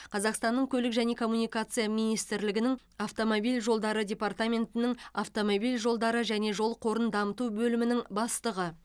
қазақстанның көлік және коммуникация министрлігінің автомобиль жолдары департаментінің автомобиль жолдары және жол қорын дамыту бөлімінің бастығы